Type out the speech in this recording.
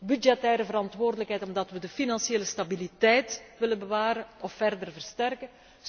driehoek. Budgettaire verantwoordelijkheid, omdat we de financiële stabiliteit willen bewaren of verder versterken.